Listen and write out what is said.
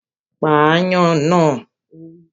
Pa ááyán náà! Ó wí